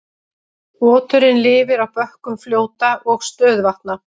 Oturinn lifir á bökkum fljóta og stöðuvatna.